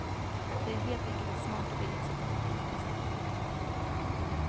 Det är helt enkelt ett smart och billigt sätt att förflytta sig.